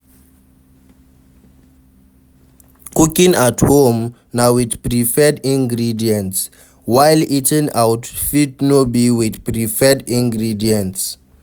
Cooking at home na with preferred ingredients while eating out fit no be with preferred ingredients